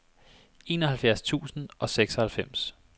enoghalvfjerds tusind og seksoghalvfems